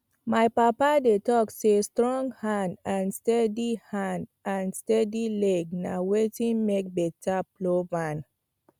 my papa dey talk say strong hand and steady hand and steady leg na wetin make better plowman